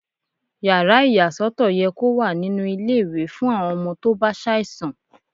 Yàrá ìyà sọ́tọ̀ yẹ kó wà nínú ilé ìwé fún àwọn ọmọ tó bá ṣàìsàn.